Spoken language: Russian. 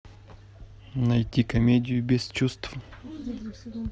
найти комедию без чувств